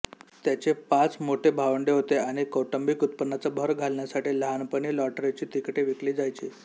त्याचे पाच मोठे भावंडे होते आणि कौटुंबिक उत्पन्नात भर घालण्यासाठी लहानपणी लॉटरीची तिकिटे विकली जायची